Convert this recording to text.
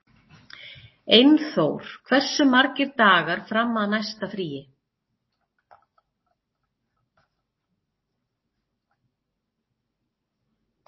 Einþór, hversu margir dagar fram að næsta fríi?